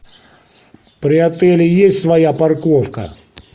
при отеле есть своя парковка